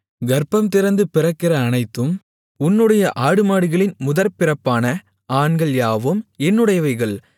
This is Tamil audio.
கர்ப்பம்திறந்து பிறக்கிற அனைத்தும் உன்னுடைய ஆடுமாடுகளின் முதற்பிறப்பான ஆண்கள் யாவும் என்னுடையவைகள்